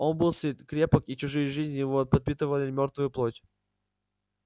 он был сыт крепок и чужие жизни ещё подпитывали мёртвую плоть